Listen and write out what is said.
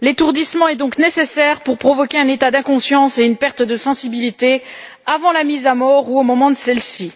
L'étourdissement est donc nécessaire pour provoquer un état d'inconscience et une perte de sensibilité avant la mise à mort ou au moment de celle ci.